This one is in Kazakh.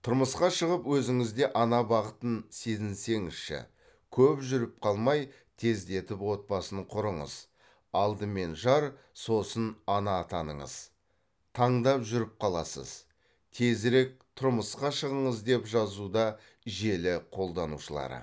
тұрмысқа шығып өзіңіз де ана бақытын сезінсеңізші көп жүріп қалмай тездетіп отбасын құрыңыз алдымен жар сосын ана атаныңыз таңдап жүріп қаласыз тезірек тұрмысқа шығыңыз деп жазуда желі қолданушылары